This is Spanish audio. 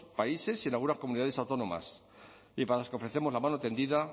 países y en algunas comunidades autónomas y para las que ofrecemos la mano tendida